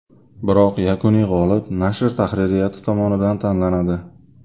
Biroq yakuniy g‘olib nashr tahririyati tomonidan tanlanadi.